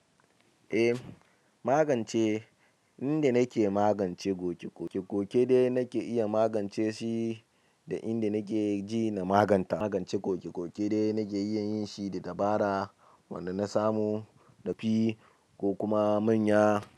Eh, magance inda nake magance koke-koke, koke-koke dai nake iya magance shi da inda nake ji na maganta. Magance koke-koke dai nake iya yin shi da dabara wanda na samu yafi ko kuma manya.